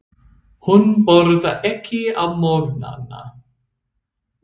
Hún borðar ekki á morgnana.